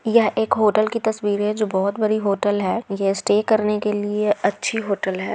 यह एक होटल की तस्वीर है जो बहुत बड़ी होटल है। ये स्टे करने के लिए अच्छी होटल है।